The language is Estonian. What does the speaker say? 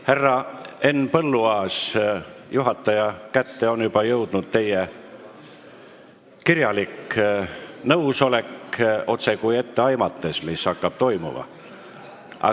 Härra Henn Põlluaas, juhataja kätte on juba jõudnud teie kirjalik nõusolek, otsekui oleks etteaimatav, mis toimuma hakkab.